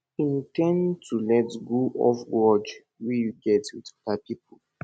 in ten d to let go of grudge wey you get with oda pipo